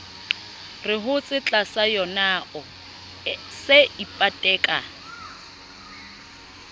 re hotse tlasayonao se ipateka